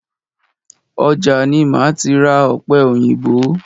Ọjà ni máa ti ra ọ̀pẹ òyìnbó.